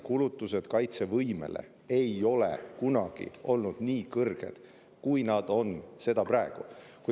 Kulutused kaitsevõimele ei ole kunagi olnud nii kõrged, kui nad on seda praegu.